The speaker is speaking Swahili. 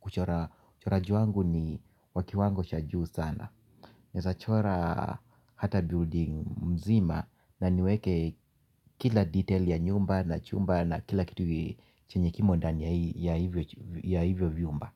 Kuchora uchoraji wangu ni wa kiwango cha juu sana. Naweza chora hata building mzima. Na niweke kila detail ya nyumba na chumba na kila kitu chenye kimo ndani ya hivyo viumba.